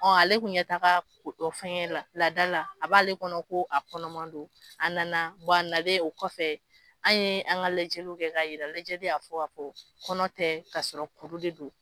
Ɔ ale kun ɲɛ t' a ga ko fɛngɛ laada la a b'ale kɔnɔ ko a kɔnɔman don a nana wa a nalen o kɔfɛ an ye an ka lajɛjlu kɛ ka yira lajɛli y'a fɔ a ko kɔnɔ tɛ ka sɔrɔ kuru de don